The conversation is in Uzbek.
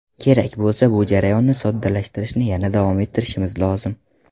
Kerak bo‘lsa, bu jarayonni soddalashtirishni yana davom ettirishimiz lozim.